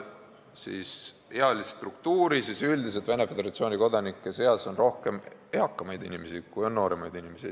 Kui vaatame ealist struktuuri, siis üldiselt on Venemaa Föderatsiooni kodanike seas rohkem eakamaid inimesi, kui on nooremaid inimesi.